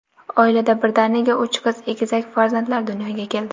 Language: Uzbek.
Oilada birdaniga uch qiz egizak farzandlar dunyoga keldi.